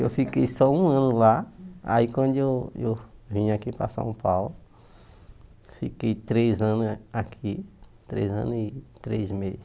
Eu fiquei só um ano lá, aí quando eu eu vim aqui para São Paulo, fiquei três anos a aqui, três anos e três meses.